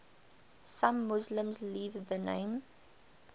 some muslims leave the name